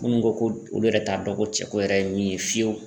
Minnu ko ko olu yɛrɛ t'a dɔn ko cɛko yɛrɛ ye min ye fiyewu.